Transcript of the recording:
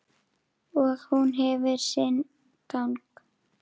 Og hún hefur sinn gang.